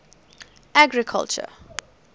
agriculture